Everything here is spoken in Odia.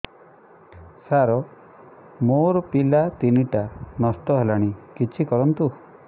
ସାର ମୋର ପିଲା ତିନିଟା ନଷ୍ଟ ହେଲାଣି କିଛି କରନ୍ତୁ